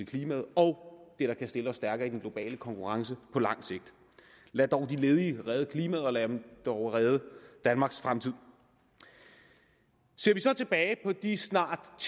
klimaet og det der kan stille os stærkere i den globale konkurrence på lang sigt lad dog de ledige redde klimaet og lade dem dog redde danmarks fremtid ser vi så tilbage på de snart